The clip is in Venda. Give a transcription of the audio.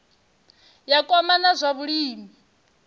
ya kwama na zwa vhulimi